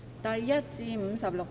第1至56條。